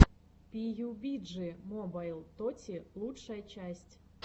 пиюбиджи мобайл тоти лучшая часть